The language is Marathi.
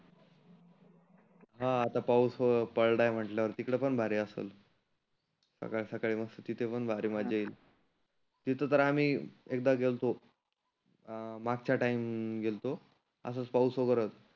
हा आता पाऊस पडला म्हटल्यावर तीकड पण भारी आसन. सकाळी सकाळी मस्त तीथे पण भारी मजा येईल. तीथ तर आम्ही एकदा गेलतो अं मागच्या टाइम गेलतो. असच पाऊस वगैरे होता.